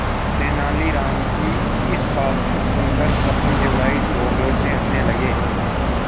तेनालीराम की इस बात को सुनकर कृष्णदेव राय जोरजोर से हंसने लगे